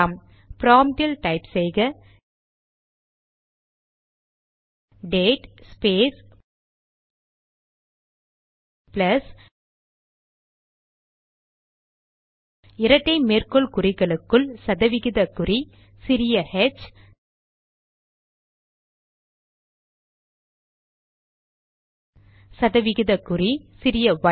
ப்ராம்ட்டில் type செய்க date space plus இரட்டை மேற்கோள் குறிகளுக்குள் சதவிகித குறி சிறிய ஹெச் சதவிகிதக்குறி சிறிய ஒய்